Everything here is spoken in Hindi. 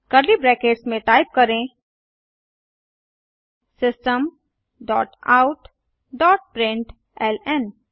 कर्ली ब्रैकेट्स में टाइप करें system dot out dot println